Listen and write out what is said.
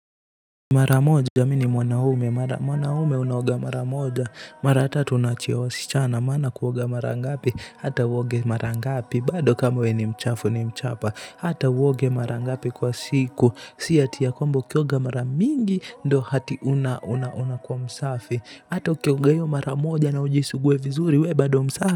Mara moja mi ni mwanaume, mwanaume unaoga mara moja, mara tatu unaachia wasichana, maana kuoga mara ngapi, hata uoge mara ngapi, bado kama we ni mchafu ni mchapa, hata uoge mara ngapi kwa siku, si ati ya kwamba kuoga mara mingi, ndo ati unakuwa msafi, hata ukioga hiyo mara moja na ujisugue vizuri we bado msafi.